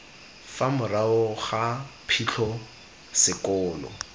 fa morago ga phitlho sekolo